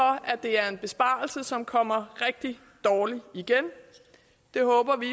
at det er en besparelse som kommer rigtig dårligt igen det håber vi